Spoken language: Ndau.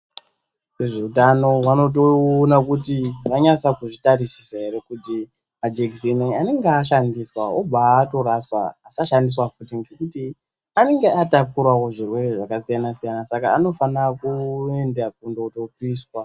Zvitano vanotoona kuti vanyasa kuzvitarisisa Ere kuti majekiseni anenge ashandiswa obva andoraswa asashandiswa futi ngekuti anenga atapurawo zvirwere zvakasiyana siyana saka anofana kuenda kundotopiswa.